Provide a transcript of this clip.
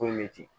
Foyi bɛ ten